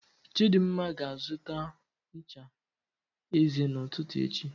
Chidimma ga-azụta ncha eze n'ụtụtụ echi